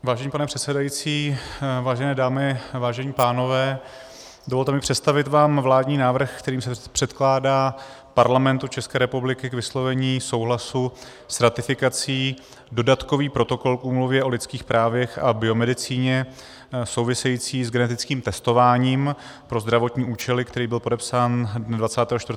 Vážený pane předsedající, vážené dámy, vážení pánové, dovolte mi představit vám vládní návrh, kterým se předkládá Parlamentu České republiky k vyslovení souhlasu s ratifikací Dodatkový protokol k Úmluvě o lidských právech a biomedicíně související s genetickým testováním pro zdravotní účely, který byl podepsán dne 24. října 2017 ve Štrasburku.